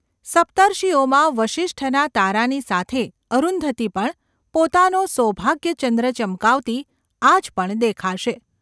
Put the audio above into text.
સપ્તર્ષિઓમાં વસિષ્ઠના તારાની સાથે અરુંધતી પણ પોતાનો સૌભાગ્યચંદ્ર ચમકાવતી આજ પણ દેખાશે.